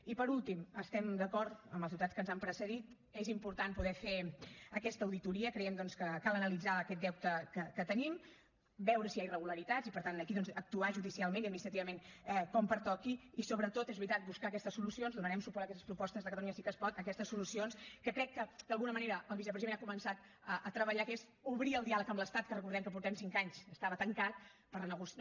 i per últim estem d’acord amb els diputats que ens han precedit és important poder fer aquesta auditoria creiem doncs que cal analitzar lo aquest deute que tenim veure si hi ha irregularitats i per tant aquí doncs actuar judicialment i administrativament com pertoqui i sobretot és veritat buscar aquestes solucions donarem suport a aquestes propostes de catalunya sí que es pot aquestes solucions que crec que d’alguna manera el vicepresident ha començat a treballar que és obrir el diàleg amb l’estat que recordem que portem cinc anys estava tancat per renegociar